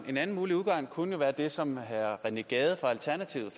en anden mulig udgang kunne jo være det som herre rené gade fra alternativet